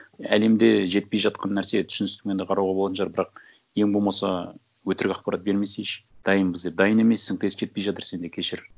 әлемде жетпей жатқан нәрсе түсіністігімен да қарауға болатын шығар бірақ ең болмаса өтірік ақпарат бермесейші дайынбыз деп дайын емессің тест жетпей жатыр сенде кешір